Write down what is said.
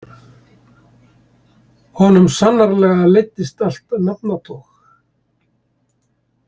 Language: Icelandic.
Honum sannarlega leiddist allt nafnatog.